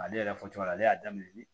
Ale yɛrɛ fɔcogo la ale y'a daminɛ ni